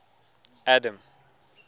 adam